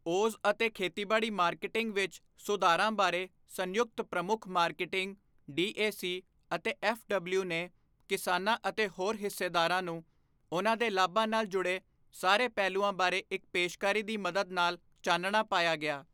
Os ਅਤੇ ਖੇਤੀਬਾੜੀ marketing ਵਿਚ ਸੁਧਾਰਾਂ ਬਾਰੇ ਸੰਯੁਕਤ ਪ੍ਰਮੁੱਖ ਮਾਰਕੀਟਿੰਗ, ਡੀਏਸੀ ਅਤੇ ਐਫਡਬਲਯੂ ਨੇ ਕਿਸਾਨਾਂ ਅਤੇ ਹੋਰ ਹਿੱਸੇਦਾਰਾਂ ਨੂੰ ਉਨ੍ਹਾਂ ਦੇ ਲਾਭਾਂ ਨਾਲ ਜੁੜੇ ਸਾਰੇ ਪਹਿਲੂਆਂ ਬਾਰੇ ਇੱਕ ਪੇਸ਼ਕਾਰੀ ਦੀ ਮਦਦ ਨਾਲ ਚਾਨਣਾ ਪਾਇਆ ਗਿਆ।